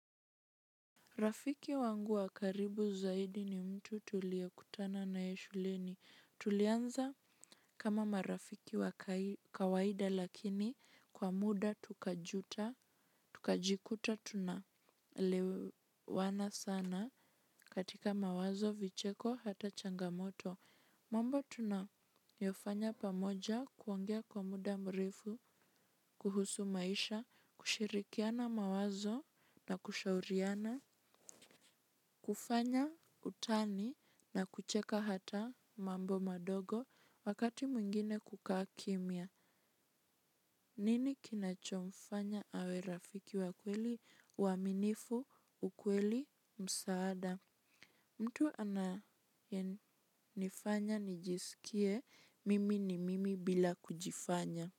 Rafiki wangu wa karibu zaidi ni mtu tuliye kutana naye shuleni. Tulianza kama marafiki wa kawaida lakini kwa muda tukajuta, tukajikuta tunaelewana sana katika mawazo vicheko hata changamoto. Mambo tunayofanya pamoja kuongea kwa muda mrefu, kuhusu maisha, kushirikiana mawazo na kushauriana, kufanya. Utani na kucheka hata mambo madogo wakati mwingine kukaa kimya. Nini kinachomfanya awe rafiki wa kweli uaminifu ukweli msaada mtu anayenifanya nijisikie mimi ni mimi bila kujifanya.